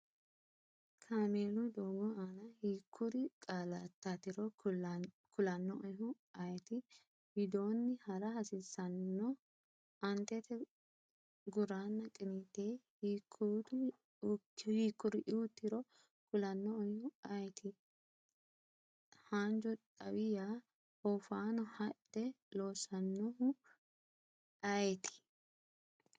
Kaameelu doogo aana hiikkuri qaallaatiro kulannoehu ayeeti? widoonni ha’ra hasiissanno? Aantete, guranna qiniite hiikkuriuutiro kulannoehu ayeeti? Haanju xawi yaa, oofaano hadhe loosannoehu ayeeti?